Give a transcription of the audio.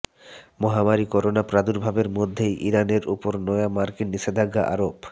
মহামারি করোনা প্রাদুর্ভাবের মধ্যেই ইরানের ওপর নয়া মার্কিন নিষেধাজ্ঞা আরোপ